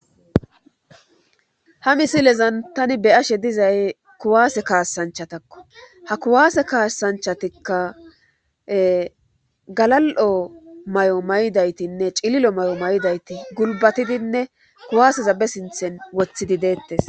Ha misilezan tani be ashe dizay kuwaase kaassanchatakko ha kuwaase kaassanchatikka galal7o may7o may7idaytinne cililo may7o may7idayti gulbatidinne kuwaaseza be sinthen wothidi deettes